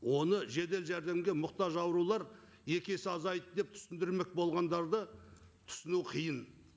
оны жедел жәрдемге мұқтаж аурулар екі есе азайды деп түсіндірмек болғандары да түсіну қиын